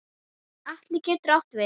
Atli getur átt við